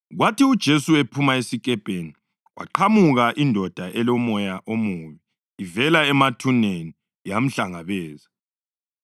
Kwathi uJesu ephuma esikepeni, kwaqhamuka indoda elomoya omubi ivela emathuneni yamhlangabeza.